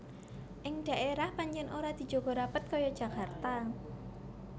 Ing daérah pancèn ora dijaga rapet kaya Jakarta